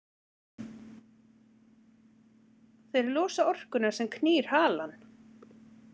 Þeir losa orkuna sem knýr halann.